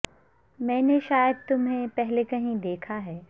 میں نے شاید تمہیں پہلے بھی کہیں دیکھا ہے